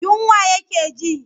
Yunwa yake ji.